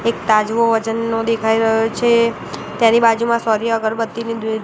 એક તાજવો વજનનો દેખાય રહ્યો છે તેની બાજુમાં સોની અગરબત્તી ને દુ--